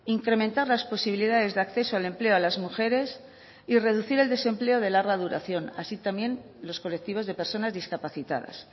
incrementar las posibilidades de acceso al empleo a las mujeres y reducir el desempleo de larga duración así también los colectivos de personas discapacitadas